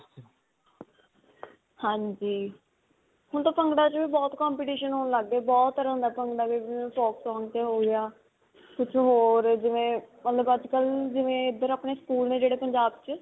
ਹਾਂਜੀ, ਹੁਣ ਤਾਂ ਭੰਗੜਿਆਂ 'ਚ ਬਹੁਤ competition ਹੋਣ ਲਗ ਗਏ, ਬਹੁਤ ਤਰ੍ਹਾਂ ਦਾ ਭੰਗੜਾ folk song 'ਤੇ ਹੋ ਗਿਆ, ਕੁਝ ਹੋਰ ਜਿਵੇਂ ਮਤਲਬ ਅੱਜ ਕਲ੍ਹ ਜਿਵੇਂ ਇੱਧਰ ਆਪਣੇ school ਨੇ ਜਿਹੜੇ ਪੰਜਾਬ 'ਚ.